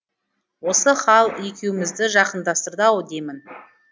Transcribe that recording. осы хал екеумізді жақындастырды ау деймін